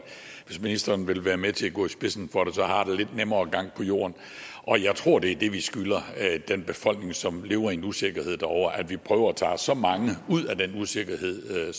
hvis ministeren vil være med til at gå i spidsen for det så har det en lidt nemmere gang på jorden og jeg tror det er det vi skylder den befolkning som lever i en usikkerhed derovre at vi prøver at tage så mange som ud af den usikkerhed